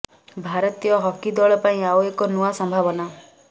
ଭାରତୀୟ ହକି ଦଳ ପାଇଁ ଆଉ ଏକ ନୂଆ ସମ୍ଭାବନା